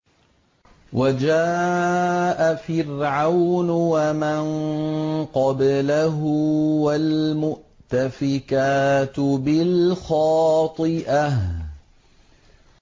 وَجَاءَ فِرْعَوْنُ وَمَن قَبْلَهُ وَالْمُؤْتَفِكَاتُ بِالْخَاطِئَةِ